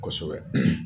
Kosɛbɛ